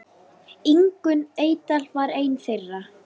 Ingunn Eydal var ein þeirra.